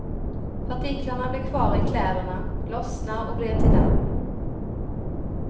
Partiklarna blir kvar i kläderna, lossnar och blir till damm.